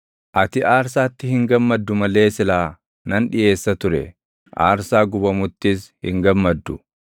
Ati aarsaatti hin gammaddu malee silaa nan dhiʼeessa ture; aarsaa gubamuttis hin gammaddu.